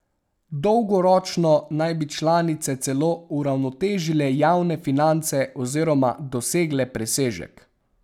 Dolgoročno naj bi članice celo uravnotežile javne finance oziroma dosegle presežek.